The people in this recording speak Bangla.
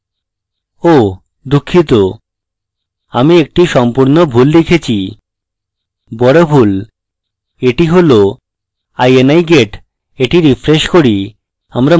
oh! দুঃখিত আমি that সম্পূর্ণ ভুল লিখেছি big ভুল that হল ini get that refresh করি